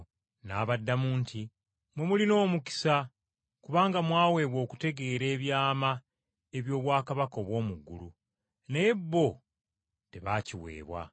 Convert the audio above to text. N’abaddamu nti, “Mmwe mulina omukisa kubanga mwaweebwa okutegeera ebyama eby’obwakabaka obw’omu ggulu, naye bo tebaakiweebwa.